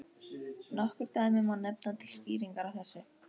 Nokkur dæmi má nefna til skýringar á þessu.